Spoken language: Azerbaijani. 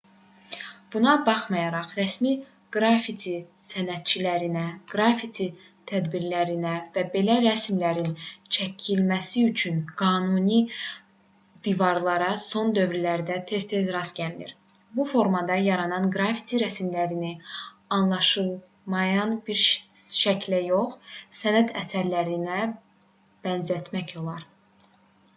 buna baxmayaraq rəsmi qrafiti sənətçilərinə qrafiti tədbirlərinə və belə rəsmlərin çəkilməsi üçün qanuni divarlara son dövrlərdə tez-tez rast gəlinir bu formada yaranan qrafiti rəsmlərini anlaşılmayan bir şəklə yox sənət əsərlərinə bənzətmək olar